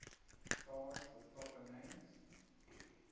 stars with proper names